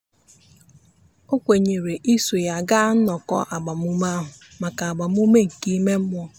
o kwenyere iso ya gaa nnọkọ agbamume ahụ maka agbamume nke ime mmụọ.